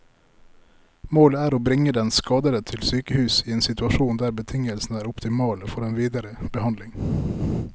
Målet er å bringe den skadede til sykehus i en situasjon der betingelsene er optimale for den videre behandling.